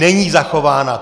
Není zachována!